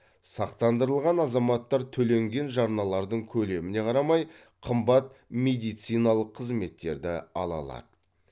сақтандырылған азаматтар төленген жарналардың көлеміне қарамай қымбат медициналық қызметтерді ала алады